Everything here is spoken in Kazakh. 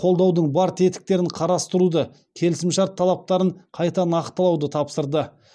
қолдаудың бар тетіктерін қарастыруды келісімшарт талаптарын қайта нақтылауды тапсырды